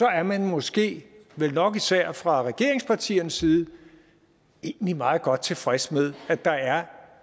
er man måske vel nok især fra regeringspartiernes side egentlig meget godt tilfreds med at der er